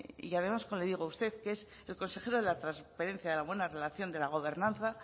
y además como le digo usted que es el consejero de la transparencia de la buena relación de la gobernanza